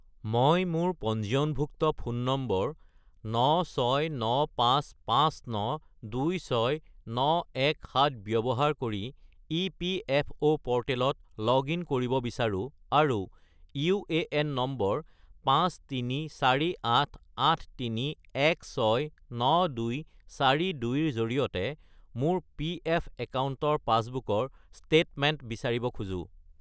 মই মোৰ পঞ্জীয়নভুক্ত ফোন নম্বৰ 96955926917 ব্যৱহাৰ কৰি ইপিএফঅ’ প'ৰ্টেলত লগ-ইন কৰিব বিচাৰোঁ আৰু ইউএএন নম্বৰ 534883169242 -ৰ জৰিয়তে মোৰ পিএফ একাউণ্টৰ পাছবুকৰ ষ্টেটমেণ্ট বিচাৰিব খোজো